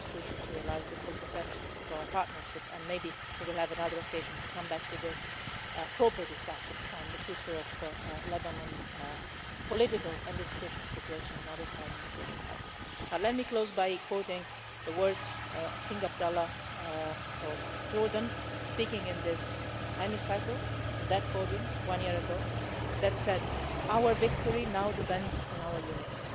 That is crucial to realising the full potential of our partnership, and maybe we will have another occasion to come back to this proper discussion on the future of Lebanon's political and institutional situation another time in this Hemicycle. But let me close by quoting the words of King Abdullah of Jordan speaking in this Hemicycle, from that podium, one year ago, who said Our victory now depends on our unity.